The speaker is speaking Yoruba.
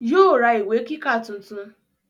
yóò ra ìwé kíkà tuntun.